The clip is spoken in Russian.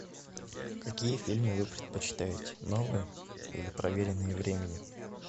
какие фильмы вы предпочитаете новые или проверенные временем